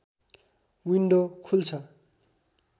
window खुल्छ